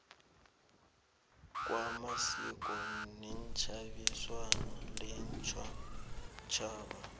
kwamasiko netjhebiswano leentjhabatjhaba